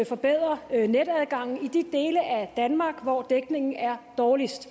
forbedre netadgangen i de dele af danmark hvor dækningen er dårligst